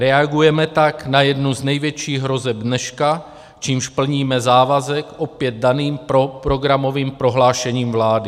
Reagujeme tak na jednu z největších hrozeb dneška, čímž plníme závazek opět daným programovým prohlášením vlády.